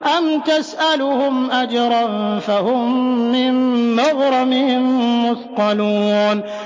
أَمْ تَسْأَلُهُمْ أَجْرًا فَهُم مِّن مَّغْرَمٍ مُّثْقَلُونَ